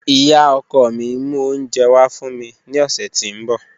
Iya ọkọ mi n mu ounjẹ wa fun mi ni ọsẹ ti n bọ.